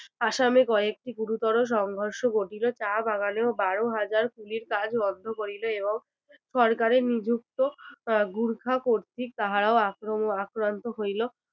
আসামে কয়েকটি গুরুতর সংঘর্ষ ঘটিলো চা বাগানেও বারো হাজার কুলির কাজ বন্ধ করিল সরকারের নিযুক্ত আহ গুর্খা কর্তৃক তাহারা আক্রম~ আক্রান্ত হইল